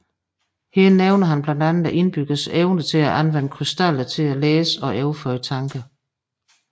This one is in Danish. Her nævner han blandt andet indbyggernes evne til at anvende krystaller til at læse og overføre tanker